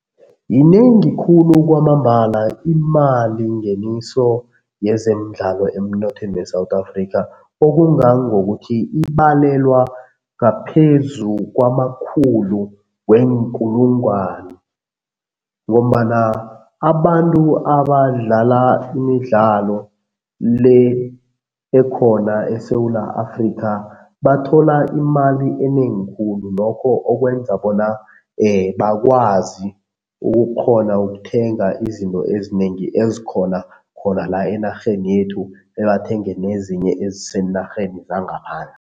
Yinengi khulu kwamambala imalingeniso yezemidlalo emnothweni we-South Africa, okungangokuthi ibalelwa ngaphezu kwamakhulu weenkulungwani ngombana abantu abadlala imidlalo le ekhona eSewula Afrika bathola imali enengi khulu, lokho okwenza bona bakwazi ukukghona ukuthenga izinto ezinengi ezikhona khona la enarheni yethu, bebathenge nezinye eziseenarheni zangaphandle.